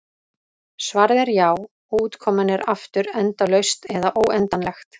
Svarið er já, og útkoman er aftur endalaust eða óendanlegt.